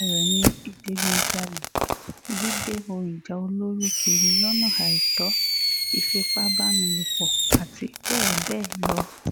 lára rẹ̀ ni ìdígunjalè gígbé ohun ìjà olóró kiri lọ́nà àìtó ìfipábánilòpọ̀ àti bẹ́ẹ̀ bẹ́ẹ̀ lọ